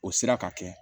O sira ka kɛ